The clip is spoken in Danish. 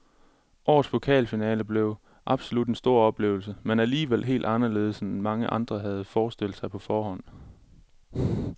Årets pokalfinale blev absolut en stor oplevelse, men alligevel helt anderledes end mange havde forestillet sig på forhånd.